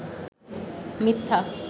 মিথ্যা